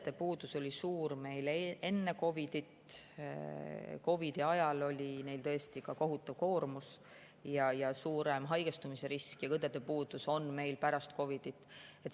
Õdede puudus oli meil suur juba enne COVID‑it, COVID‑i ajal oli neil tõesti kohutav koormus ja suurem haigestumise risk ning õdede puudus on meil ka pärast COVID‑it.